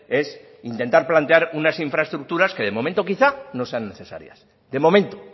es intentar plantear unas infraestructuras que de momento quizá no sean necesarias de momento